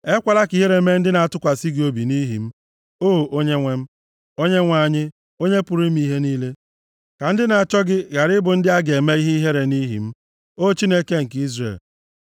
Ekwela ka ihere mee ndị na-atụkwasị gị obi nʼihi m, O Onyenwe m, Onyenwe anyị, Onye pụrụ ime ihe niile; ka ndị na-achọ gị ghara ịbụ ndị a ga-eme ihe ihere nʼihi m, O Chineke nke Izrel.